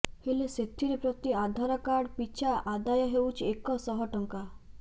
ହେଲେ ସେଥିରେ ପ୍ରତି ଆଧାର କାର୍ଡ ପିଛା ଆଦାୟ ହେଉଛି ଏକ ଶହ ଟଙ୍କା